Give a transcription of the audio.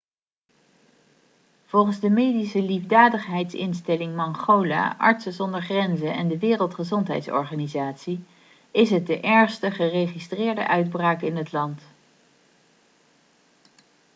volgens de medische liefdadigheidsinstelling mangola artsen zonder grenzen en de wereldgezondheidsorganisatie is het de ergste geregistreerde uitbraak in het land